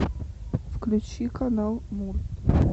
включи канал мульт